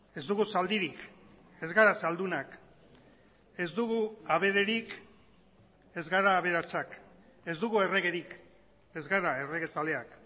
ez dugu zaldirik ez gara zaldunak ez dugu abererik ez gara aberatsak ez dugu erregerik ez gara erregezaleak